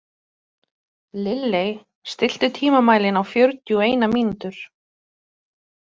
Lilley, stilltu tímamælinn á fjörutíu og eina mínútur.